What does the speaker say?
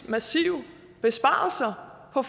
massive besparelser på